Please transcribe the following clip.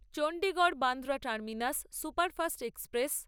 Chandigarh Bandra terminus superfast express